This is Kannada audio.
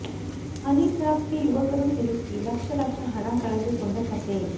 ಹನಿಟ್ರ್ಯಾಪ್ ಗೆ ಯುವಕರು ಸಿಲುಕಿ ಲಕ್ಷ ಲಕ್ಷ ಹಣ ಕಳೆದಕೊಂಡ ಕಥೆ